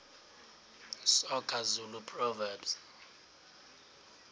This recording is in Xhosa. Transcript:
soga zulu proverbs